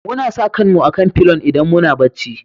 Muna sa kan mu a'kan filon idan muna bacci.